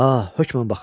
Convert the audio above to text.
Ah, hökmən baxın.